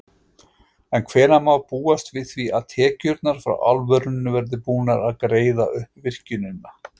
En hvenær má búast við að tekjurnar frá álverinu verði búnar að greiða upp virkjunina?